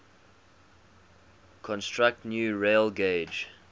construct new railgauge